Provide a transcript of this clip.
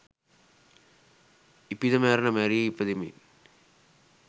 ඉපිද මැරෙන මැරී ඉපදෙමින්